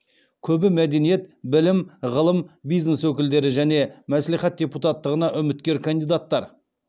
көбі мәдениет білім ғылым бизнес өкілдері және мәслихат депутаттығына үміткер кандидаттар